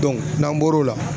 n'an bɔro la